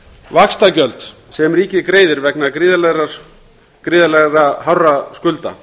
vaxtagjöld sem ríkið greiðir vegna gríðarlega mikilla skulda